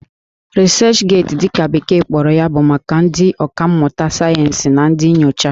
Researchgate' dị ka bekee kpọrọ ya bụ maka ndị ọkà mmụta sayensị na ndị nyocha